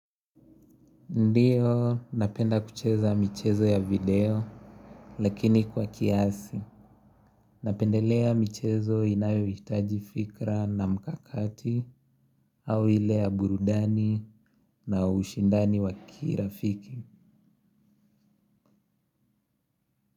Ndiyo, napenda kucheza michezo ya video, lakini kwa kiasi. Napendelea michezo inayohitaji fikra na mkakati, au ile ya burudani na ushindani wa kirafiki.